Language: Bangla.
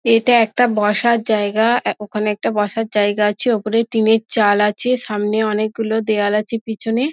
এটা একটা বসার জায়গা ও অ্যা ওখানে একটা বসার জায়গা আছে ওপরে টিনের চাল আছে সামনে অনেক গুলো দেওয়াল আছে পিছনে--